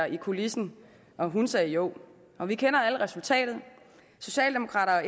i kulissen og hun sagde jo og vi kender alle til resultatet socialdemokrater og